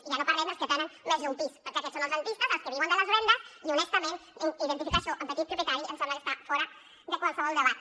i ja no parlem dels que tenen més d’un pis perquè aquests són els rendistes els que viuen de les rendes i honestament identificar això amb petit propietari em sembla que està fora de qualsevol debat